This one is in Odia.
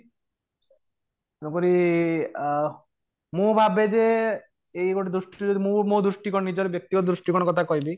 ତେଣୁକରି ଅଂ ମୁଁ ଭାବେ ଯେ ଏଇ ଗୋଟେ ଦୃଷ୍ଟି ରୁ ଯଦି ମୁଁ ମୋ ଦୃଷ୍ଟିକୋଣ ନିଜର ବ୍ୟକ୍ତିଗତ ଦୃଷ୍ଟିକୋଣ କଥା କହିବି